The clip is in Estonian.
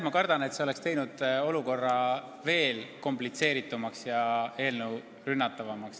Ma kardan, et see oleks teinud olukorra veel komplitseeritumaks ja eelnõu rünnatavamaks.